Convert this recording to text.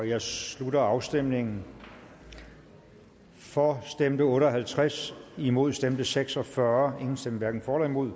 jeg slutter afstemningen for stemte otte og halvtreds imod stemte seks og fyrre hverken for eller imod